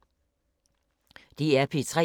DR P3